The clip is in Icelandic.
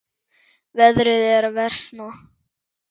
Veðrið er að versna.